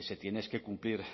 se tiene es que cumplir